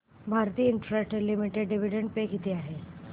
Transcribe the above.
Bharti Infratel limited dividend pay किती आहे